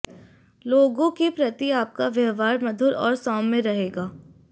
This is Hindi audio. लोगों के प्रति आपका व्यवहार मधुर और सौम्य रहेगा